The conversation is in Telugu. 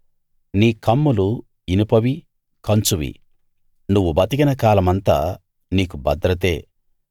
నీ కమ్ములు ఇనుపవీ కంచువీ నువ్వు బతికిన కాలమంతా నీకు భద్రతే